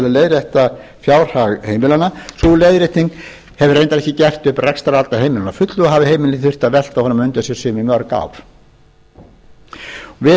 leiðrétta fjárhag heimilanna sú leiðrétting hefur reyndar ekki gert upp rekstrarhalla heimilanna að fullu og hafa heimilin því þurft að velta honum á undan sér sum í mörg ár við